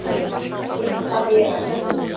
"""Ég léti það vera, sagði ég."""